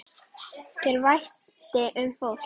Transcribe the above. Þér þótti vænt um fólk.